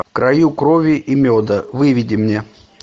в краю крови и меда выведи мне